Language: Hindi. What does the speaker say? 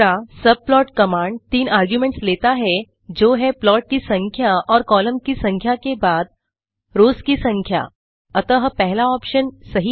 सबप्लॉट कमांड तीन आर्गुमेंट्स लेता है जो हैं प्लॉट की संख्या और कॉलम की संख्या के बाद रोस की संख्या अतः पहला ऑप्शन सही है